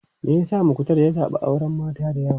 Me yasa Muktar ya zabi auren mata da yawa?